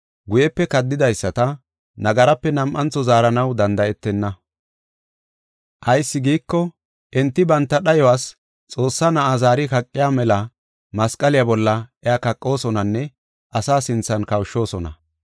guyepe kaddidaysata nagaraape nam7antho zaaranaw danda7etenna. Ayis giiko, enti banta dhayuwas Xoossaa Na7aa zaari kaqiya mela masqaliya bolla iya kaqosonanne asa sinthan kawushoosona.